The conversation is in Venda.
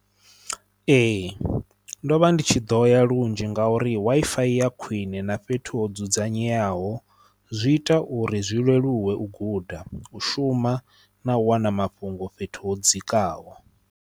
Ee ndo vha ndi tshi ḓo ya lunzhi nga uri Wi-Fi ya khwine na fhethu ho dzudzanyeaho zwi ita uri zwi leluwe u guda u shuma na u wana mafhungo fhethu ho dzikaho.